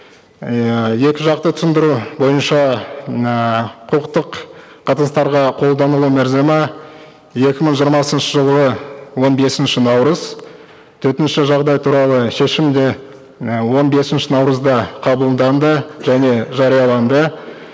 ыыы екі жақты түсіндіру бойынша ыыы құқықтық қатынастарға қолданылу мерзімі екі мың жиырмасыншы жылғы он бесінші наурыз төтенше жағдай туралы шешім де і он бесінші наурызда қабылданды және жарияланды